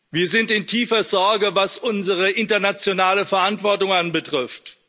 Wir sind in tiefer Sorge, was unsere internationale Verantwortung betrifft.